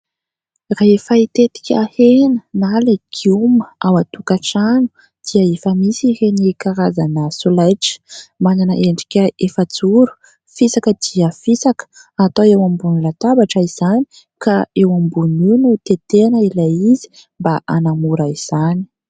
Rehefa hitetika hena na lagioma ao atokan-trano dia efa misy ireny karazana solaitra manana endrika efa-joro fisaka dia fisaka atao eo ambon'ny latabatra izany ka eo ambonin'io no teteana ilay izy mba hanamora izany.